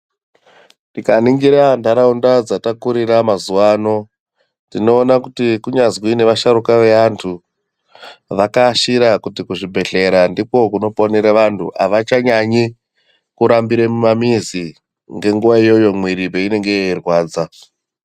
Tika ningira ndaraunda dzata kurira mazuva ano tino ona kuti kunyazwi neva sharuka ve antu vaka ashira kuti ku zvibhedhlera ndiko kuno ponera vantu avacha nyanyi ku rambire mu mamizi nge nguva iyoyo mwiri peinenge yei rwadza.